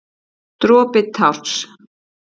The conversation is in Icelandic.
Dropi társ.